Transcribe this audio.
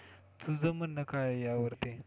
तुझ म्हणणं काय आहे यावरती?